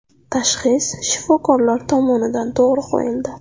Tashxis shifokorlar tomonidan to‘g‘ri qo‘yildi.